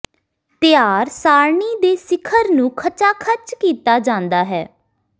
ਤਿਆਰ ਸਾਰਣੀ ਦੇ ਸਿਖਰ ਨੂੰ ਖਚਾਖੱਚ ਕੀਤਾ ਜਾਂਦਾ ਹੈ